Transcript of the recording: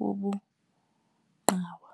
wobungqawa.